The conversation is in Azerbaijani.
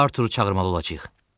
Arturu çağırmalı olacağıq.